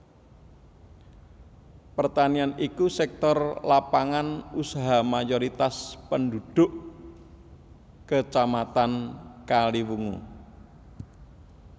Pertanian iku sektor lapangan usaha mayoritas pendhudhuk Kacamatan Kaliwungu